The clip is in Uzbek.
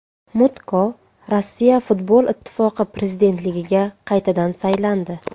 Mutko Rossiya futbol ittifoqi prezidentligiga qaytadan saylandi.